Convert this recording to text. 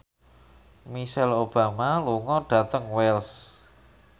Michelle Obama lunga dhateng Wells